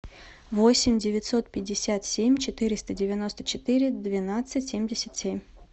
восемь девятьсот пятьдесят семь четыреста девяносто четыре двенадцать семьдесят семь